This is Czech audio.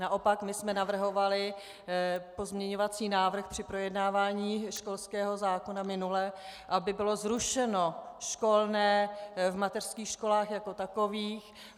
Naopak my jsme navrhovali pozměňovací návrh při projednávání školského zákona minule, aby bylo zrušeno školné v mateřských školách jako takových.